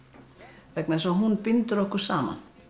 vegna þess að hún bindur okkur saman